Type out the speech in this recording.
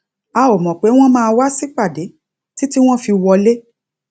a ò mọ pé wọn máa wá sípàdé títí wọn fi wọlé